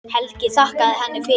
Helgi þakkaði henni fyrir.